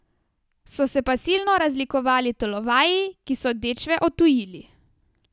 So se pa silno razlikovali tolovaji, ki so dečve odtujili.